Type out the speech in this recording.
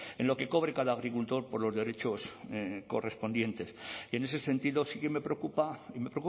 en lo que cobre cada agricultor por los derechos correspondientes y en ese sentido sí que me preocupa y me